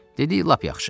Dedi lap yaxşı.